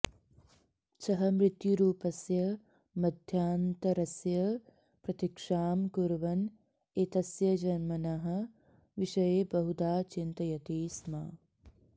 सः मृत्युरूपस्य मध्यान्तरस्य प्रतीक्षां कुर्वन् एतस्य जन्मनः विषये बहुधा चिन्तयति स्म